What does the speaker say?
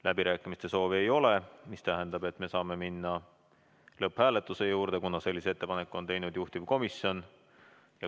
Läbirääkimiste soovi ei ole, mis tähendab seda, et me saame minna lõpphääletuse juurde, kuna sellise ettepaneku on teinud juhtivkomisjon.